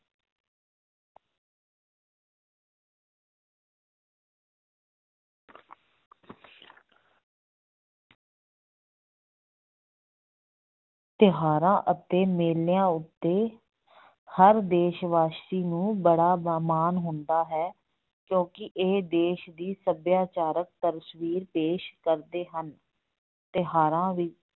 ਤਿਉਹਾਰਾਂ ਅਤੇ ਮੇਲਿਆਂ ਉੱਤੇ ਹਰ ਦੇਸ ਵਾਸੀ ਨੂੰ ਬੜਾ ਹੁੰਦਾ ਹੈ ਕਿਉਂਕਿ ਇਹ ਦੇਸ ਦੀ ਸੱਭਿਆਚਾਰਕ ਤਸਵੀਰ ਪੇਸ ਕਰਦੇ ਹਨ ਤਿਉਹਾਰਾਂ ਵੀ